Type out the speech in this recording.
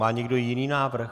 Má někdo jiný návrh?